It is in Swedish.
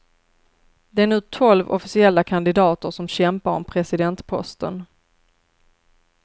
Det är nu tolv officiella kandidater som kämpar om presidentposten.